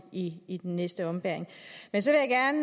i i den næste ombæring men så